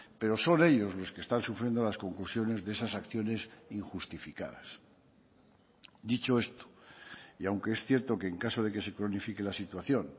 pero son ellos los que están sufriendo las conclusiones de esas acciones injustificadas dicho esto y aunque es cierto que en caso de que se cronifique la situación